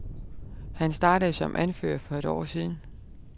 Han startede som anfører for et år siden.